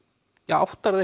áttar þú